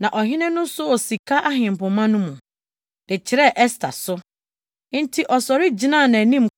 Na ɔhene no soo sika ahempema no mu, de kyerɛɛ Ɛster so. Enti ɔsɔre gyinaa nʼanim